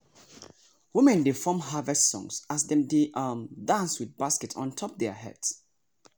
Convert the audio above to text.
women dey form harvest songs as dem dey um dance with baskets ontop their heads.